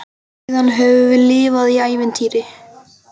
Síðan höfum við lifað í ævintýri.